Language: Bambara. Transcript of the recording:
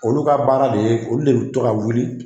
Olu ka baara de ye, olu de bi to ka wuli